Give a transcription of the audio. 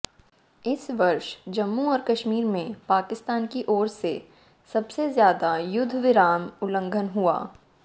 इस वर्ष जम्मू और कश्मीर में पाकिस्तान की ओर से सबसे ज्यादा युद्धविराम उल्लंघन हुआ